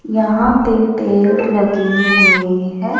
यहाँ पे पेड़ लगे हुए हैं।